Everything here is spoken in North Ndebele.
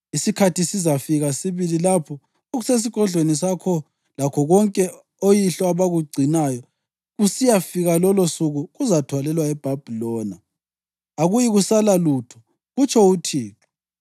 Isikhathi sizafika sibili lapho konke okusesigodlweni sakho lakho konke oyihlo abakugcinayo kusiyafika lolosuku, kuzathwalelwa eBhabhiloni. Akuyikusala lutho, kutsho uThixo.